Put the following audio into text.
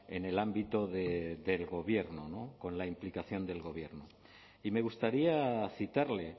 en el ámbito del gobierno con la implicación del gobierno y me gustaría citarle